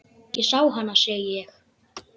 Ég sá hana, segi ég.